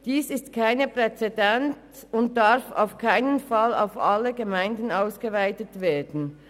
Das hat keine Präzedenz und darf keinesfalls auf alle Gemeinden ausgeweitet werden.